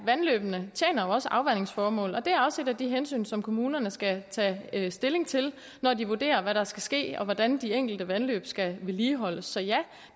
vandløbene tjener jo også afvandingsformål og det er også et af de hensyn som kommunerne skal tage stilling til når de vurderer hvad der skal ske og hvordan de enkelte vandløb skal vedligeholdes så ja